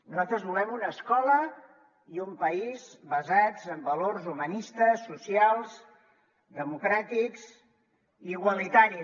nosaltres volem una escola i un país basats en valors humanistes socials demo·cràtics i igualitaris